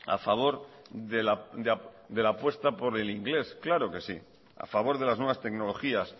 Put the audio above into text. a favor de la apuesta por el inglés claro que sí a favor de las nuevas tecnologías